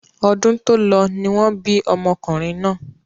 Ọdún tó lọ ni wọ́n bí ọmọkùnrin náà.